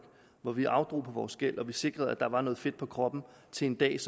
hvor vi afdrog på vores gæld og sikrede at der var noget fedt på kroppen til den dag